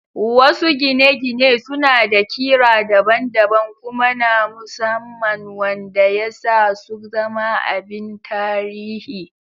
Wasu gine-gine suna da ƙira daban-daban kuma na musamman wanda ya sa su zama abin tarihi